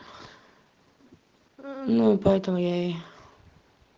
ну поэтому я и